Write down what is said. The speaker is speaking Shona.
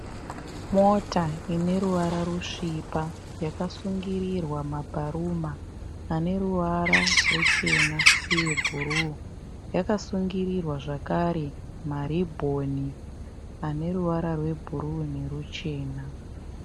Mota ine ruvara rusvipa yakasungirirwa mabharuma ane ruvara ruchena uye bhuruu. Yakasungirirwa zvakare maribhoni ane ruvara rwebhuruu neruchena.